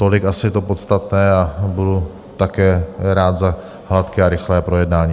Tolik asi je to podstatné a budu také rád za hladké a rychlé projednání.